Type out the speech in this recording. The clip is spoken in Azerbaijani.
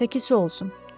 Təki su olsun.